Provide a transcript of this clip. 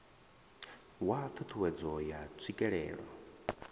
wa ṱhu ṱhuwedzo ya tswikelelo